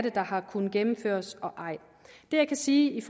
ikke har kunnet gennemføres det jeg kan sige